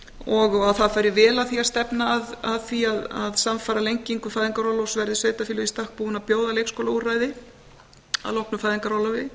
og að það fari vel á því að stefna að því að samfara lengingu fæðingarorlofs verði sveitarfélög í stakk búin að bjóða leikskólaúrræði að loknu fæðingarorlofi